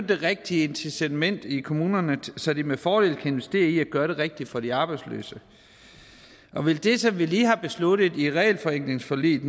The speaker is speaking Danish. det rigtige incitament i kommunerne så de med fordel kan investere i at gøre det rigtige for de arbejdsløse og vil det som vi lige har besluttet i regelforenklingsforliget